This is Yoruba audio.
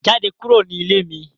Jade kuro ni ile mi